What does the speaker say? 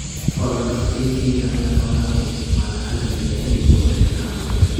Xoolo-dhaqatada Kenya ayaa xoolaha u isticmaala agabka ceeriin ee warshadaha cuntada.